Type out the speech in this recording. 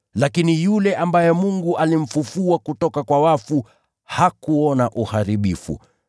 Lakini yule ambaye Mungu alimfufua kutoka kwa wafu hakuona uharibifu.